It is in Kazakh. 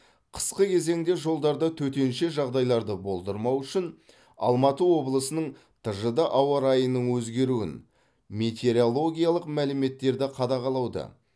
қысқы кезеңде жолдарда төтенше жағдайларды болдырмау үшін алматы облысының тжд ауа райының өзгеруін метеорологиялық мәліметтерді қадағалауды